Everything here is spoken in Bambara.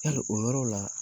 Hali o yɔrɔ la